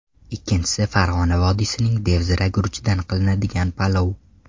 Ikkinchisi Farg‘ona vodiysining devzira guruchidan qilinadigan palov.